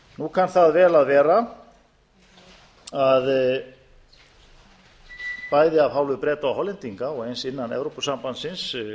nú kann vel að vera að bæði af hálfu breta og hollendinga og eins innan evrópusambandsins